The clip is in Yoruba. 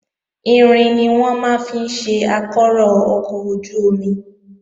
Irin ni wọ́n máa ń fi ṣe ìdákọrò ọkọ̀ ojú-omi